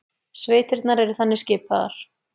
Sveitirnar eru þannig skipaðar